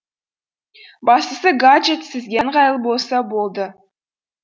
бастысы гаджет сізге ыңғайлы болса болды